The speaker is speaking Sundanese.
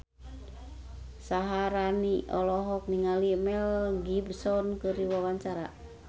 Syaharani olohok ningali Mel Gibson keur diwawancara